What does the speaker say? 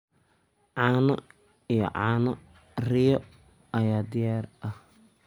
Caano iyo caano riyo ayaa diyaar ah.